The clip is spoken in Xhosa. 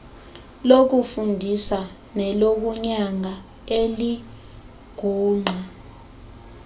lokufundisa nelokunyanga elingungqa